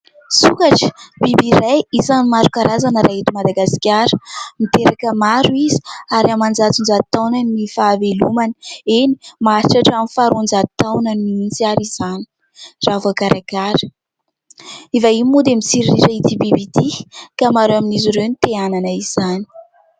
Sokatra, biby iray isan'ny maro karazana raha eto Madagasikara. Miteraka maro izy ary amanjatonjaton-taona ny fahavelomany. Eny, maharitra hatramin'ny faharoanjato taonany mihitsy aza izany raha voakarakara. Ny vahiny moa dia mitsiriritra ity biby ity ka maro amin'izy ireo no te hanana izany.